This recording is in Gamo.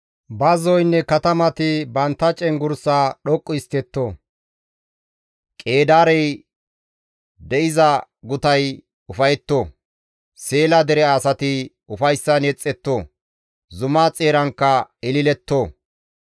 Bazzoynne katamati bantta cenggurssaa dhoqqu histtetto; Qeedaarey de7iza gutay ufayetto; Seela dere asati ufayssan yexetto; zuma xeerankka ililetto.